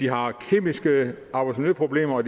har kemiske arbejdsmiljøproblemer